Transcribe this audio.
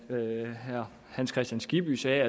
det herre hans kristian skibby sagde